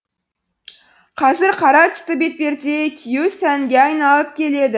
қазір қара түсті бетперде кию сәнге айналып келеді